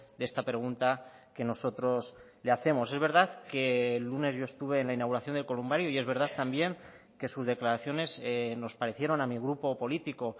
de esta pregunta que nosotros le hacemos es verdad que el lunes yo estuve en la inauguración del columbario y es verdad también que sus declaraciones nos parecieron a mi grupo político